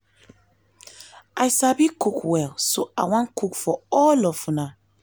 i sabi cook well so i wan cook for all of una